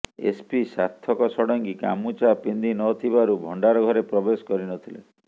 SP Sarthak Sadangi ଗାମୁଛା ପିନ୍ଧି ନ ଥିବାରୁ ଭଣ୍ଡାର ଘରେ ପ୍ରବେଶ କରି ନ ଥିଲେ